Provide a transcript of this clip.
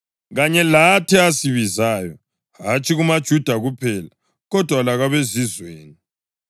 kanye lathi asibizayo, hatshi kumaJuda kuphela, kodwa lakwabeZizweni?